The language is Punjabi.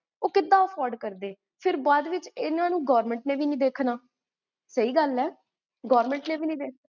ਕ੍ਵੇ